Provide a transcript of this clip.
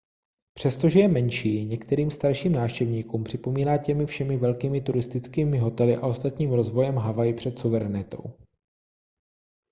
přestože je menší některým starším návštěvníkům připomíná těmi všemi velkými turistickými hotely a ostatním rozvojem havaj před suverenitou